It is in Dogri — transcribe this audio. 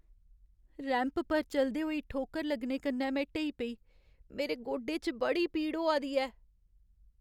रैंप पर चलदे होई ठोकर लग्गने कन्नै में ढेई पेई। मेरे गोडे च बड़ी पीड़ होआ दी ऐ।